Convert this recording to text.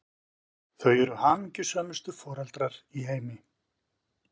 Þau eru hamingjusömustu foreldrar í heimi!